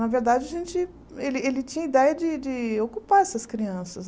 Na verdade, a gente ele ele tinha a ideia de de ocupar essas crianças.